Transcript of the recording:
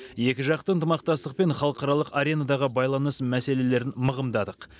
екіжақты ынтымақтастық пен халықаралық аренадағы байланыс мәселелерін мығымдадық